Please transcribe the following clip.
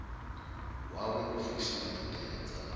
wawe u fusha ṱhoḓea dza